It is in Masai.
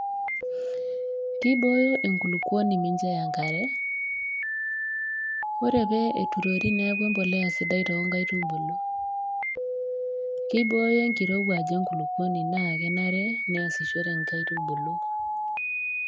Keibooyo enkulukuoni mincho eya enkare. Ore pee eturori neaku mbolea sidai too nkaitubulu. Keibooyo enkirouwaj enkulukuoni naake enare neasishore inkaitubulu